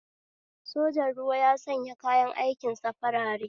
Sojan ruwa ya sanya kayan aikin sa farare